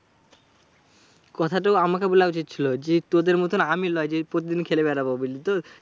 কথাটা আমাকে বলা উচিত ছিল। যে তোদের মতো আমি লয় যে প্রতিদিন খেলে বেড়াবো, বুঝলি তো?